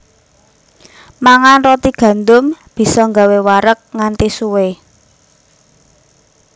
Mangan roti gandum bisa gawé wareg nganti suwé